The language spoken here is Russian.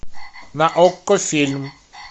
на окко фильм